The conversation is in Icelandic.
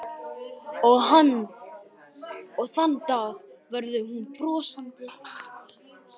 Og þann dag verður hún brosandi.